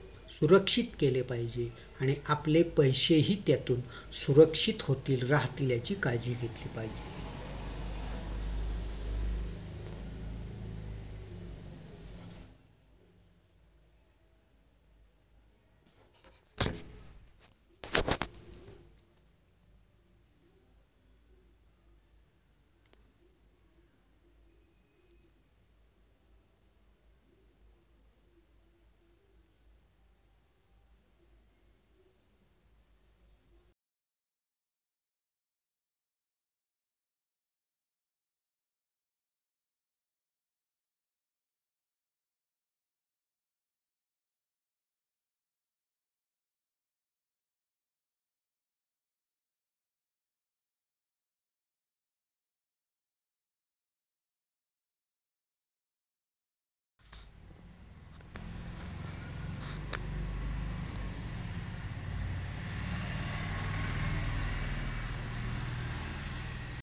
सुरक्षित केले पाहिजे आणि आपले पैसेही त्यातून सुरक्षित होतील राहतील याची काळजी घेतली पाहिजेत